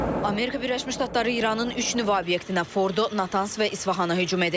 Amerika Birləşmiş Ştatları İranın üç nüvə obyektinə, Fordo, Natanz və İsfahana hücum edib.